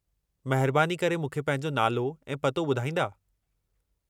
महिरबानी करे मूंखे पंहिंजो नालो ऐं पतो ॿुधाईंदा।